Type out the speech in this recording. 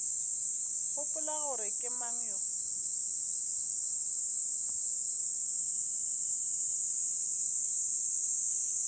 gopola gore ke mang yo